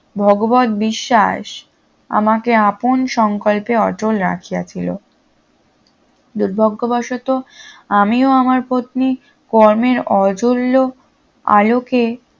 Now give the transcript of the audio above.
ভগবত বিশ্বাস আমাকে আপন সংকল্পে অটুট রাখিয়াছিল দুর্ভাগ্যবশত আমি ও আমার পত্নী কর্মের আলোকে